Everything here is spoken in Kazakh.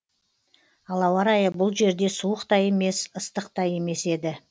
ал ауа райы бұл жерде суық та емес ыстық та емес еді